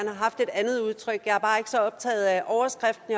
haft et andet udtryk men jeg er bare ikke så optaget af overskriften